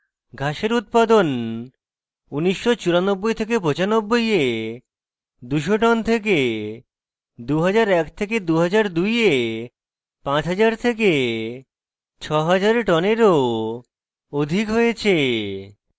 ঘাসের উৎপাদন 199495 এ 200 টন থেকে 20012002 এ 50006000 tonnes of অধিক হয়েছে